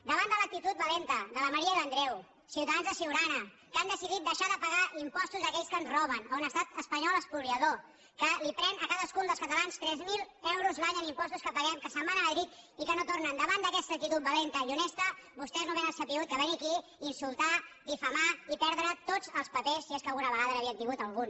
davant de l’actitud valenta de la maria i l’andreu ciutadans de siurana que han decidit deixar de pagar impostos a aquells que ens roben a un estat espanyol espoliador que li pren a cadascun dels catalans tres mil euros l’any en impostos que paguem que se’n van a madrid i que no tornen davant d’aquesta actitud valenta i honesta vostès només han sabut venir aquí insultar difamar i perdre tots els papers si és que alguna vegada n’havien tingut algun